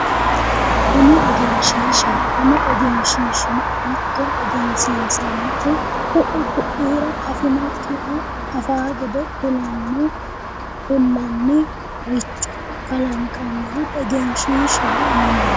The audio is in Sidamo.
Kuni egenshishshaho ,kuni egenshishshino hatto egensinsanihu ku"u ko'ira afinokkiha afanno gede ku'lanniricho kalanqaniha egenshishshaho yinanni